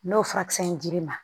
N'o furakisɛ in dir'i ma